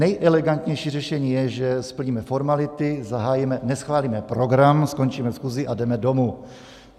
Nejelegantnější řešení je, že splníme formality, zahájíme, neschválíme program, skončíme schůzi a jdeme domů.